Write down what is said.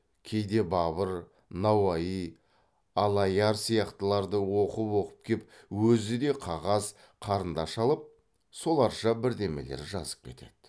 кейде бабыр науаи аллаяр сияқтыларды оқып оқып кеп өзі де қағаз қарындаш алып соларша бірдемелер жазып кетеді